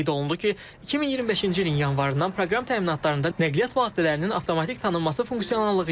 Qeyd olundu ki, 2025-ci ilin yanvarından proqram təminatlarında nəqliyyat vasitələrinin avtomatik tanınması funksionallığı yaradılıb.